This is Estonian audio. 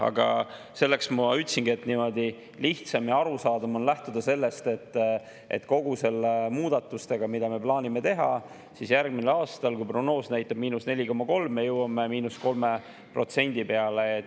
Aga selleks ma ütlesingi, et niimoodi lihtsam ja arusaadavam on lähtuda sellest, et kõigi nende muudatustega, mida me plaanime teha, siis järgmisel aastal, kui prognoos näitab –4,3%, me jõuame –3% peale.